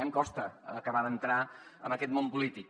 em costa acabar d’entrar en aquest món polític